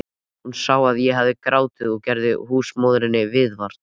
Hún sá að ég hafði grátið og gerði húsmóðurinni viðvart.